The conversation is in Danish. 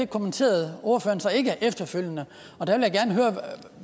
kommenterede ordføreren så ikke efterfølgende og der vil